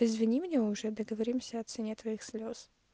извини меня уже договоримся о цене твоих слез